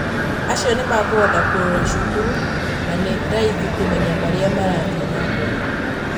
acio nĩmakũhota kũrũra cukuru na nĩ raithi kũmenya maria marathiĩ na mbere.